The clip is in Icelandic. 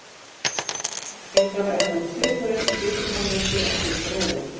Algengara er að nota sykurreyr til sykurframleiðslu en sykurrófur.